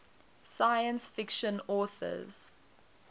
science fiction authors